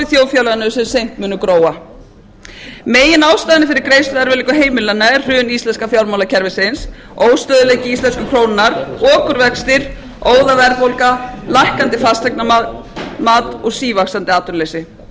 þjóðfélaginu sem seint munu gróa meginástæðan fyrir greiðsluerfiðleikum heimilanna er hrun íslenska fjármálakerfisins óstöðugleiki íslensku krónunnar okurvextir óðaverðbólga lækkandi fasteignamat og sívaxandi atvinnuleysi samhliða hafa